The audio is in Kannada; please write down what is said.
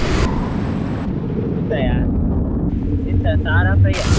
ಬೂತಾಯಾ ಎಂತ ಸಾರ fry ಯಾ?